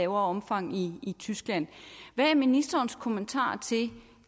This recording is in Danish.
omfang i tyskland hvad er ministerens kommentar til